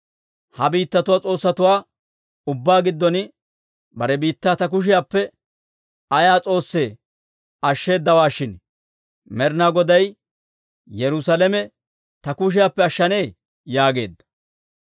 Ha biittatuwaa s'oossatuwaa ubbaa giddon bare biittaa ta kushiyaappe ayaa s'oossi ashsheedawaa shin, Med'ina Goday Yerusaalame ta kushiyaappe ashshanee?» yaageedda.